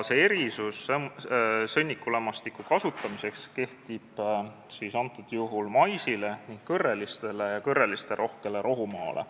Erisus sõnnikulämmastiku kasutamiseks kehtib maisi ning kõrreliste ja kõrrelisterohke rohumaa kohta.